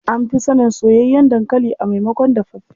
An fi sanin soyayyen dankali a maimakon dafaffe.